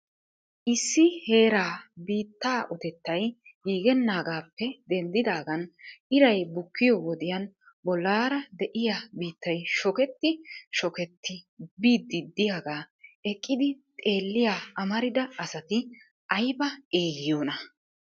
Issi heeraa biittaa uttetay giigenaagaappe denddidaagan iray bukkiyo wodiyaan bollaara de'iyaa biittay shokketti shokketti biidi de'iyaaga eqqidi xeeliya amarida asati aybba eyyiyoona!